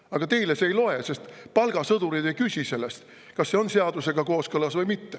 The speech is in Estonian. Aga teile see ei loe, sest palgasõdurid ei küsi sellest, kas see on seadusega kooskõlas või mitte.